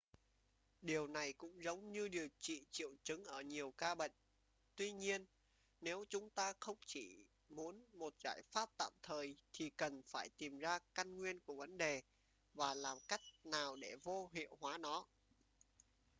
điều này cũng giống như điều trị triệu chứng ở nhiều ca bệnh tuy nhiên nếu chúng ta không chỉ muốn một giải pháp tạm thời thì cần phải tìm ra căn nguyên của vấn đề và làm cách nào để vô hiệu hóa nó